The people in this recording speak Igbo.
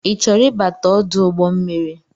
I chọrọ ịbata ọdụ ụgbọmmiri?